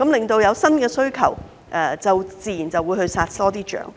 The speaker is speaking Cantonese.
因應新的需求，自然就會多殺一些象。